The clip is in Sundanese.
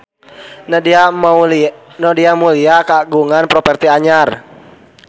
Nadia Mulya kagungan properti anyar